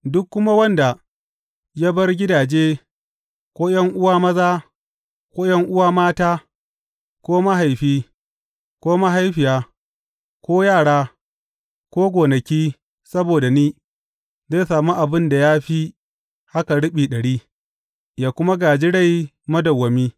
Duk kuma wanda ya bar gidaje ko ’yan’uwa maza ko ’yan’uwa mata ko mahaifi ko mahaifiya ko yara ko gonaki, saboda ni, zai sami abin da ya fi haka riɓi ɗari, yă kuma gāji rai madawwami.